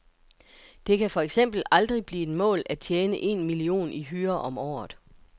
Det kan for eksempel aldrig blive et mål at tjene en million i hyre om året.